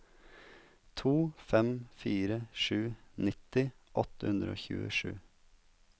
to fem fire sju nitti åtte hundre og tjuesju